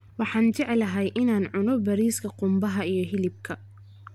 Waxaan jeclahay in aan cuno bariiska qumbaha iyo hilibka